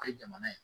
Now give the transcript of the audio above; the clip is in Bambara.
O ye jamana ye